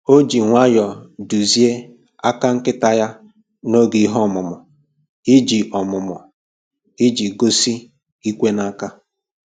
O ji nwayọ duzie aka nkịta ya n'oge ihe ọmụmụ iji ọmụmụ iji egosi "ikwe n'aka"